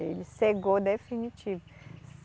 Ele cegou definitivo.